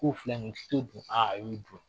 K'o fila a o y'o jɔ.